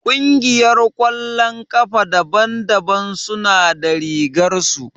Ƙungiyar ƙwallon ƙafa daban daban suna da rigar su